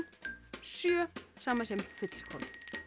sjö samasem fullkomið